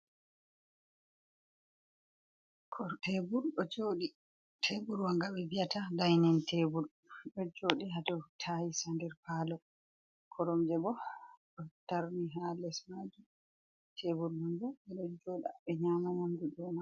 Do tebur, tebur wa ga viyata ɗainin tebur, ɗo joɗi ha ɗou tayisa nɗer palo koromje ɓo ɗo tarni ha les majum, tebur man ɓo jeo ɓe ɗo joɗa ɓe nyama nyamɗu ɗou man.